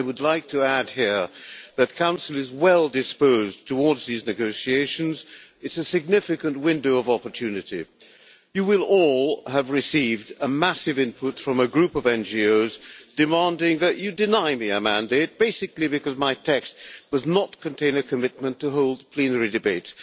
I would like to add here that the Council is well disposed towards these negotiations. It's a significant window of opportunity. You will all have received a massive input from a group of NGOs demanding that you deny me a mandate, basically because my text does not contain a commitment to holding a plenary debate.